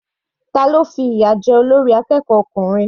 Tani ó fi ìyà jẹ olórí akẹ́kọ̀ọ́ ọkùnrin?